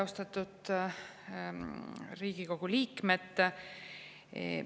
Austatud Riigikogu liikmed!